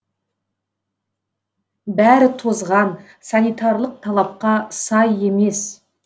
бәрі тозған санитарлық талапқа сай емес